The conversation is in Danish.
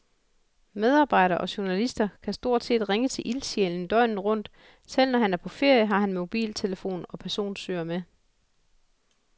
Medarbejdere og journalister kan stort set ringe til ildsjælen døgnet rundt, selv når han er på ferie, har han mobiltelefon og personsøger med.